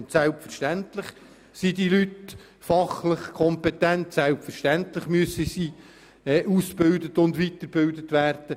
Und selbstverständlich sind die Leute fachlich kompetent und selbstverständlich müssen sie aus- und weitergebildet werden.